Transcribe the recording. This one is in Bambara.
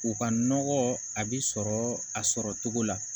U ka nɔgɔ a bɛ sɔrɔ a sɔrɔ cogo la